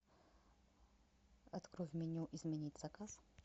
открой в меню изменить заказ